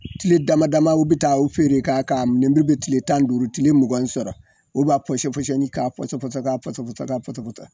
Tile dama damamaw u bi taa u feere, k'a ka nin min be tile tan ni duuru kile mugan sɔrɔ, u b'a pɔsɔpɔsɔni k'a pɔsɔpɔsɔ pɔsɔpɔsɔ pɔsɔpɔsɔ